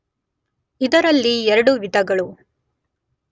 ಇದರಲ್ಲಿ ಎರಡು ವಿಧಗಳು.